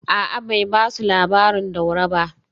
A’a, bai ba su labarin Daura ba